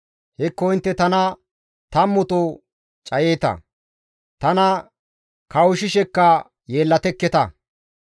Hekko intte tana tammuto cayeeta; tana kawushshishekka yeellatekketa.